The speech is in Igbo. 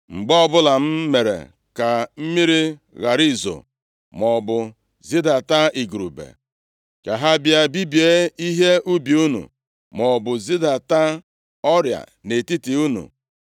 “Mgbe ọbụla m mere ka mmiri ghara izo, maọbụ zidata igurube ka ha bịa bibie ihe ubi unu, maọbụ zidata ọrịa nʼetiti unu,